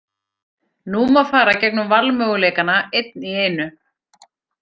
Nú má fara gegnum valmöguleikana, einn í einu.